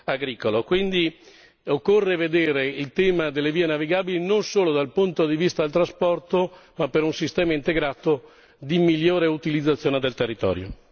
agricolo, quindi occorre vedere il tema delle vie navigabili non solo dal punto di vista del trasporto, ma per un sistema integrato di migliore utilizzazione del territorio.